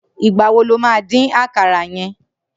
Nigbà wó ló má din àkàrà yèn?